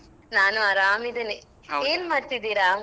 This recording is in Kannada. ನಾನು ಅರಾಮ್ ಇದ್ದೇನೆ ಏನ್ ಮಾಡ್ತಿದ್ದೀರಾ?